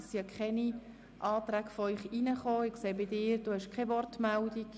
Es gibt weder Anträge von ihnen noch Wortmeldungen.